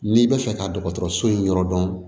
N'i bɛ fɛ ka dɔgɔtɔrɔso in yɔrɔ dɔn